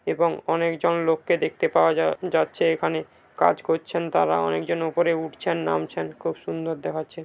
এবং অনেকজন লোককে দেখতে পাওয়া যা-যাচ্ছে এখানে কাজ করছেন তারা অনেকজন উপরে উঠছেন নামছেন খুব সুন্দর দেখাচ্ছে ।